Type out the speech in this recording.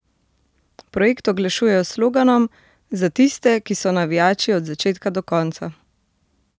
Projekt oglašujejo s sloganom: "Za tiste, ki so navijači od začetka do konca".